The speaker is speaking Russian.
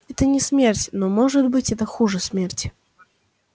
это не смерть но может быть это хуже смерти